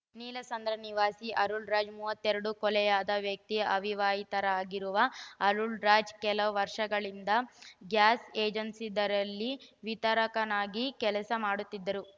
ನೀಲಸಂದ್ರ ನಿವಾಸಿ ಅರುಳ್‌ ರಾಜ್‌ ಮೂವತ್ತೆಡು ಕೊಲೆಯಾದ ವ್ಯಕ್ತಿ ಅವಿವಾಹಿತರಾಗಿರುವ ಅರುಳ್‌ ರಾಜ್‌ ಕೆಲ ವರ್ಷಗಳಿಂದ ಗ್ಯಾಸ್‌ ಏಜೆನ್ಸಿಯೊಂದರಲ್ಲಿ ವಿತರಕನಾಗಿ ಕೆಲಸ ಮಾಡುತ್ತಿದ್ದರು